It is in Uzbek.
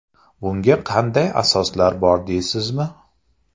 Bunga qanday asoslar bor deysizmi?